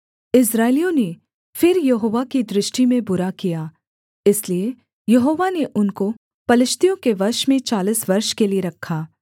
इस्राएलियों ने फिर यहोवा की दृष्टि में बुरा किया इसलिए यहोवा ने उनको पलिश्तियों के वश में चालीस वर्ष के लिये रखा